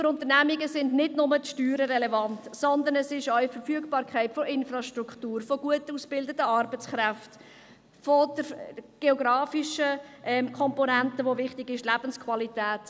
Für Unternehmungen sind nicht nur Steuern relevant, sondern es sind dies auch die Verfügbarkeit der Infrastruktur, gut ausgebildeter Arbeitskräften und die geografischen Komponente, welche wichtig ist, sowie die Lebensqualität.